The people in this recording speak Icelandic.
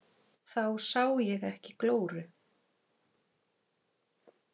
Þá sá ég ekki glóru.